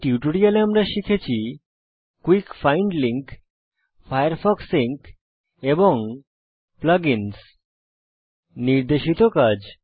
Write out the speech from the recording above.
এই টিউটোরিয়ালে আমরা শিখেছি quick find link Firefox sync এবং plug ইন্স নির্দেশিত কাজ